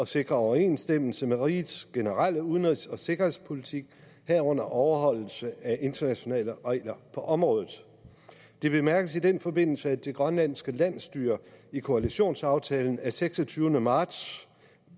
sikre overensstemmelse med rigets generelle udenrigs og sikkerhedspolitik herunder overholdelse af internationale regler på området det bemærkes i den forbindelse at det grønlandske landsstyre i koalitionsaftalen af seksogtyvende marts